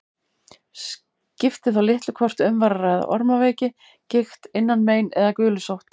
Skipti þá litlu hvort um var að ræða ormaveiki, gigt, innanmein eða gulusótt.